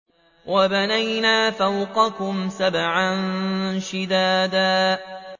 وَبَنَيْنَا فَوْقَكُمْ سَبْعًا شِدَادًا